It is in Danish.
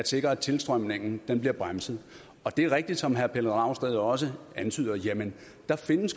sikre at tilstrømningen bliver bremset det er rigtigt som herre pelle dragsted også antyder at der